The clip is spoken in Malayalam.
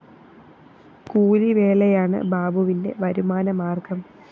കൂലിവേലയാണ് ബാബുവിന്റെ വരുമാന മാര്‍ഗം